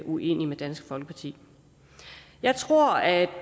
uenige med dansk folkeparti jeg tror at